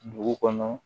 Dugu kɔnɔ